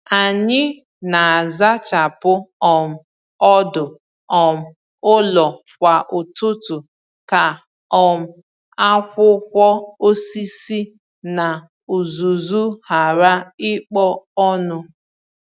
Ànyị na-azachapụ um ọdụ um ụlọ kwa ụtụtụ ka um akwụkwọ osisi na uzuzu ghara ịkpo ọnụ.